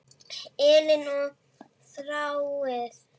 Elín og Þráinn.